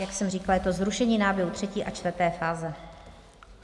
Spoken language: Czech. Jak jsem říkala, je to zrušení náběhu třetí a čtvrté fáze.